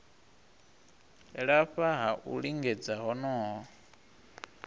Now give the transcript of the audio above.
lafha ha u lingedza honoho